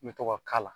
N bɛ to ka k'a la